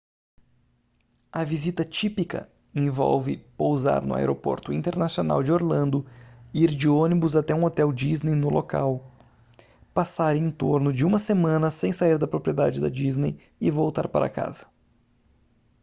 a visita típica envolve pousar no aeroporto internacional de orlando ir de ônibus até um hotel disney no local passar em torno de uma semana sem sair da propriedade da disney e voltar para casa